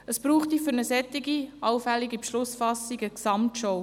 Es bräuchte für eine solche allfällige Beschlussfassung eine Gesamtschau.